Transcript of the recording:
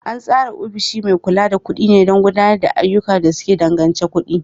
An tsara ofishin mai kula da kuɗi ne don gudanar da ayyukan da suka danganci kuɗi.